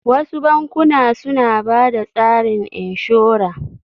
Wasu bankuna suna bada tsarin inshora